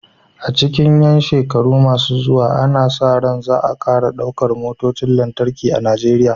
A cikin ƴan shekaru masu zuwa, ana sa ran za a ƙara ɗaukar motocin lantarki a Najeriya.